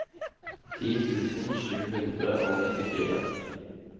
ti tusen sju hundre og nittifire